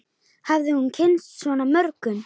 Hafði hún kynnst svona mörgum?